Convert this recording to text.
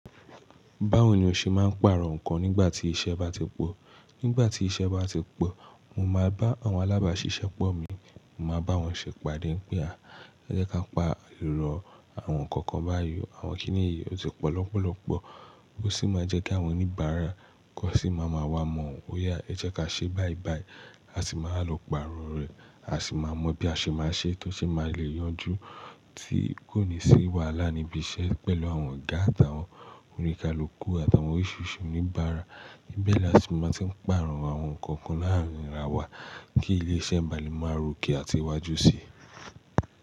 Báwo ni o ṣe máa ń pàrọ̀ nǹkan nígbà tí iṣẹ́ bá ti pọ̀? Nígbà tí iṣẹ́ bá ti pọ̀, mo máa bá àwọn alábàáṣiṣẹ́ pọ̀ mi, mo máa bá wọn ṣẹ̀pàdé pé a, ẹ jẹ́ ká paàrọ àwọn kọ̀ọ̀kan báyìí. Àwọn kíni yí ó ti pọ̀ lọ́pọ̀lọ́pọ̀, ó sì máa jẹ́ kí àwọn oníbàárà kọ́ sì máa ma wá mọ̀ ọ. Ó yà, ẹ jẹ́ ká ṣe báyìí báyìí, a sì máa lọ pàrọ̀ rẹ̀, a sì máa mọ bí a ṣe máa ṣe é tó sì máa lè yanjú tí kò ní sì wàhalá níbi iṣẹ́ pẹ̀lú àwọn ọ̀gá àti àwọn oníkálukú àti àwọn oríṣiríṣi oníbàárà. Ibẹ̀ ni a sì máa ti ń pàrọ̀ àwọn nǹkan kan láàárín ara wa kí ilé iṣẹ́ bá le pọ̀ máa ròkè àti wá jú sí i.